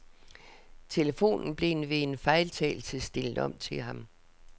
Telefonen blev ved en fejltagelse stillet om til ham.